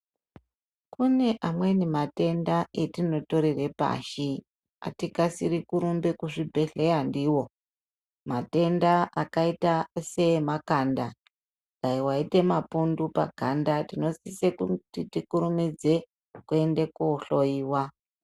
Kuneamweni matenda atinotorere pashi atikaisiri kurumbe kuchibhehlera ndiyo matenda akaita semakanda dai waite mapundu paganda tinosise kuti tikurumudze kuti tiende kohloiwa.